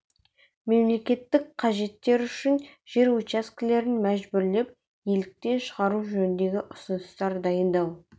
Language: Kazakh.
мемлекеттік қажеттер үшін жер учаскелерін мәжбүрлеп иеліктен шығару жөнінде ұсыныстар дайындау